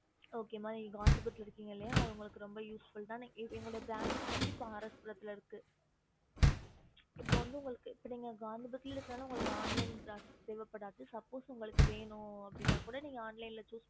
O okay okey mam